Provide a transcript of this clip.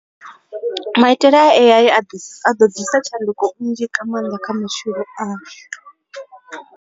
Maitele a A_I a ḓo ḓisa tshanduko nnzhi nga maanḓa kha mishumo.